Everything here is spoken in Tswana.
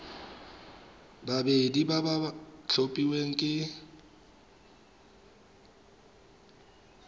babedi ba ba tlhophilweng ke